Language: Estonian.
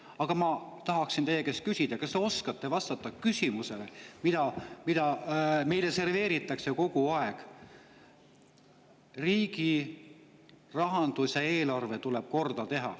Aga ma tahaksin teie käest küsida, kas te oskate vastata küsimusele, mida meile serveeritakse kogu aeg: riigirahandus ja -eelarve tuleb korda teha.